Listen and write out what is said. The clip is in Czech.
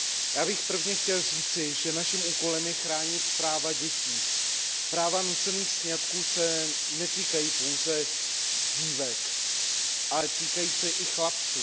Já bych prvně chtěl říci, že naším úkolem je chránit práva dětí, nucené sňatky se netýkají pouze dívek, ale týkají se i chlapců.